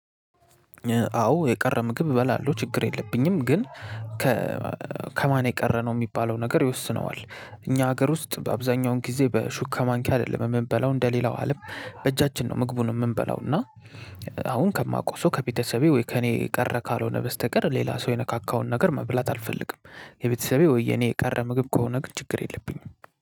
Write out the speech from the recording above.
አዎ የቀረ ምግብ እበላለሁ ችግር የለብኝም ግን ከማን የቀረ ነው የሚባለው ነገር ይወስነዋል። እኛ ሀገር ውስጥ በአብዛኛውን ጊዜ በሹካ ማንኪያ አይደለም የምንበላው እንደሌላው አለም በእጃችን ነው። ምግቡን የምንበላው እና አሁን ከማቀው ሰው ከቤተሰቤ ወይ ከእኔ የቀረ ካልሆነ በስተቀር ሌላ ሰው የነካካውን ነገር መብላት አልፈልግም። የቤተሰቤ ወይ የኔ የቀረ ምግብ ከሆነ ግን ችግር የለብኝም።